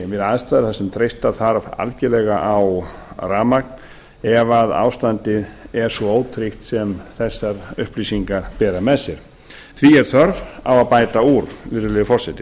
við aðstæður þar sem treysta þarf algjörlega á rafmagn ef að ástandið er svo ótryggt sem þessar upplýsingar bera með sér því er þörf á að bæta úr virðulegi forseti